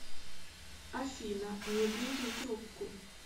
афина не бери трубку